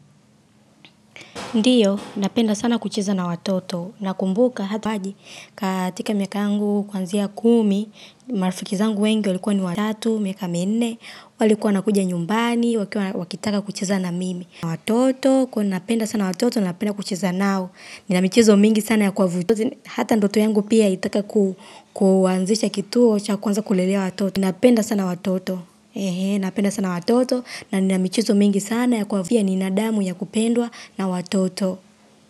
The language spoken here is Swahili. Ndiyo, napenda sana kucheza na watoto. Nakumbuka hata waji, katika miaka yangu kuanzia kumi, marafiki zangu wengi walikuwa ni watatu, miaka minne, walikuwa wanakuja nyumbani, wakitaka kuchiza na mimi. Na watoto, kwa hivo napenda sana watoto, napenda kucheza nao, nina michiizo mingi sana ya kuwavutia, hata ndoto yangu pia inataka kuanzisha kituo, cha kuanza kulelea watoto. Napenda sana watoto. Napenda sana watoto na nina michezo mingi sana ya kuafia binadamu ya kupendwa na watoto.